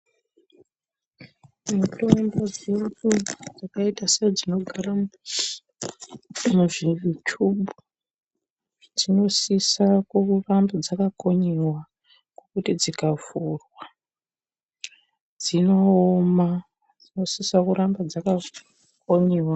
Mitombo dzeshe dzakaite sedzinogara muzvichubhu dzinosise kuramba dzakakonyewa ngekuti dzikavhurwa dzinooma dzinosise kugara dzakakonyewa.